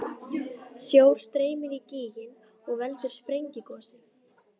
Sjór streymir í gíginn og veldur sprengigosi.